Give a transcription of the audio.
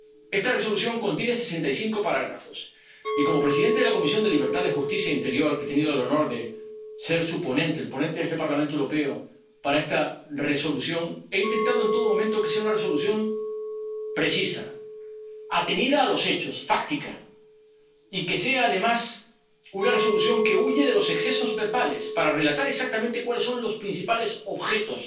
Esta Resolución contiene sesenta y cinco apartados y, como presidente de la Comisión de Libertades Civiles, Justicia y Asuntos de Interior, he tenido el honor de ser su ponente —el ponente de este Parlamento Europeo para esta Resolución— y he intentado en todo momento que sea una Resolución precisa, atenida a los hechos, fáctica, y que sea además una Resolución que huye de los excesos verbales para relatar exactamente cuáles son los principales objetos